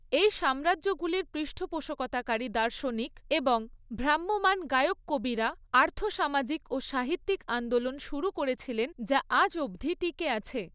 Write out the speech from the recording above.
এই সাম্রাজ্যগুলির পৃষ্ঠপোষকতাকারী দার্শনিক এবং ভ্রাম্যমান গায়ক কবিরা আর্থবসামাজিক ও সাহিত্যিক আন্দোলন শুরু করেছিলেন যা আজ অবধি টিকে আছে।